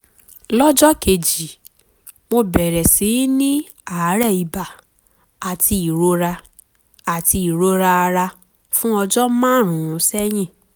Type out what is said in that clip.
lọ́jọ́ kejì mo bẹ̀rẹ̀ sí í ní àárẹ̀ ibà àti ìrora àti ìrora ara fún ọjọ́ márùn-ún sẹ́yìn